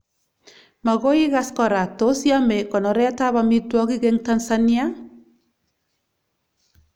Magoi igas kora, tos yame konoret ab amitwogik eng Tansania